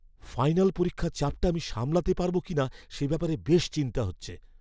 Final পরীক্ষার চাপটা আমি সামলাতে পারব কিনা সে ব্যাপারে বেশ চিন্তা হচ্ছে।